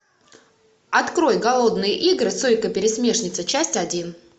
открой голодные игры сойка пересмешница часть один